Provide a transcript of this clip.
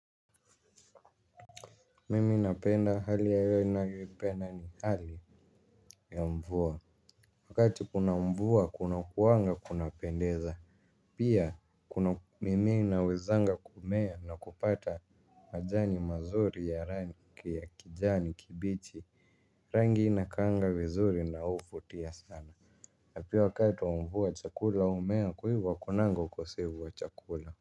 Mimi napenda hali ya hewa ninavyoipenda ni hali ya mvua. Wakati kuna mvua kunakuanga kunapendeza. Pia kuna mimea inawezanga kumea na kupata majani mazuri ya rangi ya kijani kibichi rangi inakaanga vizuri na huvutia sana na pia wakati wa mvua chakula au mimea kwa hivo hakunanga ukosevu wa chakula.